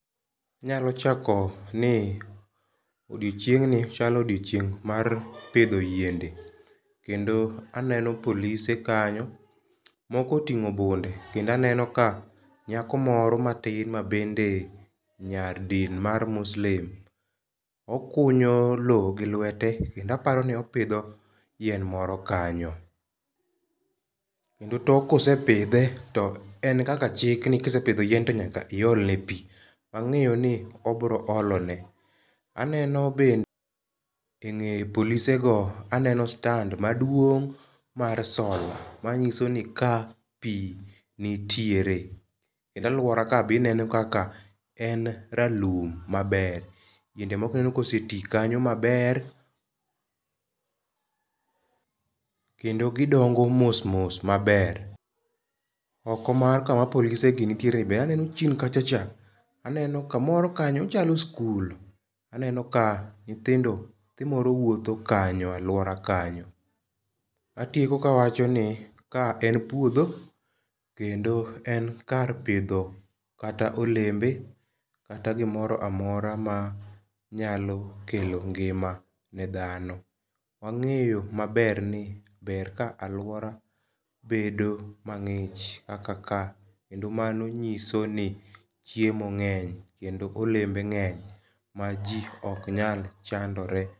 Anyalo chako ni odiochieng' ni chalo odiochieng' mar pidho yiende. Kendo aneno polise kanyo. Moko otingo bunde. Kendo aneno ka nyako moro matin ma bende nyar din mar muslim okunyo lo gi lwete kendo aporo ni opidho yien moro kanyo. Kendo tok kosepidhe to en kaka chik ni kisepidho yien to nyaka to iol ne pi. Wang'eyo ni obiro olone. Aneno bende engeye polise go aneno stand maduong' mar sola manyiso ni ka pi nitiere kendo aluora ka be ineno kaka en ralum maber. Yiende moko ineno koseti kanyo maber. Kendo gidongo mos mos maber. Oko kama polise gi nitiere be aneno chien ka chacha aneno kamoro kanyo ochalo skul. Aneno ka nyithindo, nyathi moro wuotho kanyo aluora kanyo. Atieko ka awacho ni ka en puodho kendo en kar pidho kata olembe kata gimoro amora ma nyalo kelo ngima ne dhano. Wang'eyo maber ni ber ka aluora bedo mang'ich kaka ka kendo mano nyiso ni chiemo ng'eny kendo olembe ng'eny ma ji ok nyal chandore.